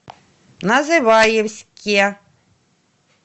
называевске